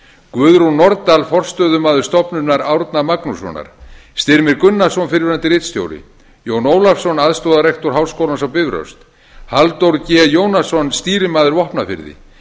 guðrún nordal forstöðumaður stofnunar árna magnússonar styrmir gunnarsson fyrrverandi ritstjóri jón ólafsson aðstoðarrektor háskólans á bifröst halldór g jónasson stýrimaður vopnafirði